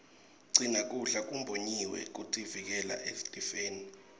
gcina kudla kumbonyiwe kutivikela etifeni